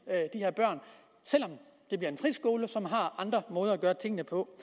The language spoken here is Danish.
de her børn selv om det bliver en friskole som har andre måder at gøre tingene på